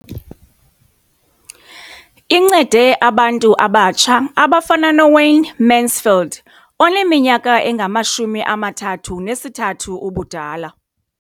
Incede abantu abatsha abafana noWayne Mansfield oneminyaka engama-33 ubudala.